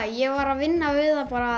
ég var að vinna við það